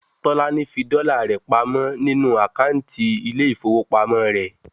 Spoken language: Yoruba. Tolani saved her dollars in her bank account